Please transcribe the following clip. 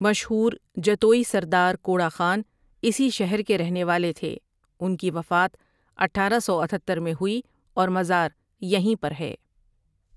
مشہور جتوئی سردار کوڑا خاں اسی شہر کے رہنے والے تھے ان کی وفات اٹھارہ سو اتھتر میں ہوئی اور مزار یہیں پر ہے ۔